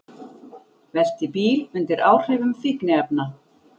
Velti bíl undir áhrifum fíkniefna